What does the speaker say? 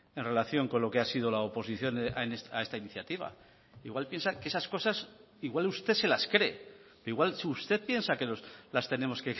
en relación con lo que ha sido la oposición a esta iniciativa igual piensa que esas cosas igual usted se las cree igual si usted piensa que las tenemos